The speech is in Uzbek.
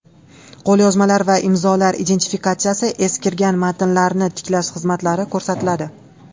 Qo‘lyozmalar va imzolar identifikatsiyasi, eskirgan matnlarni tiklash xizmatlari ko‘rsatiladi.